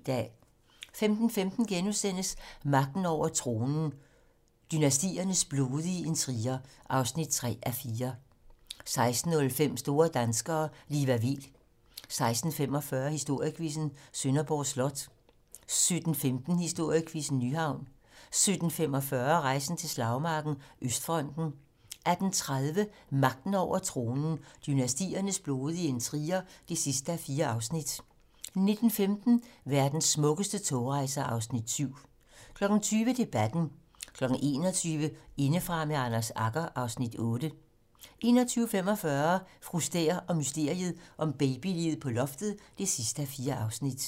15:15: Magten over tronen - Dynastiernes blodige intriger (3:4)* 16:05: Store danskere - Liva Weel 16:45: Historiequizzen: Sønderborg Slot 17:15: Historiequizzen: Nyhavn 17:45: Rejsen til slagmarken: Østfronten 18:30: Magten over tronen - dynastiernes blodige intriger (4:4) 19:15: Verdens smukkeste togrejser (Afs. 7) 20:00: Debatten 21:00: Indefra med Anders Agger (Afs. 8) 21:45: Fru Stæhr og mysteriet om babyliget på loftet (4:4)